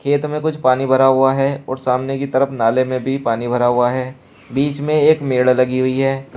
खेत में कुछ पानी भरा हुआ है और सामने की तरफ नाले में भी पानी भरा हुआ है बीच में एक मेड लगी हुई है।